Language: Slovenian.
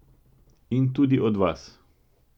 In tudi od vas.